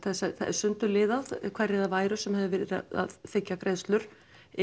sundurliðað hverjir það væru sem hefðu verið að þiggja greiðslur